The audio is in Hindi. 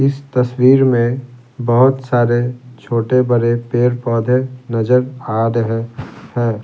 इस तस्वीर में बहुत सारे छोटे-बड़े पेड़-पौधे नजर आ रहे हैं।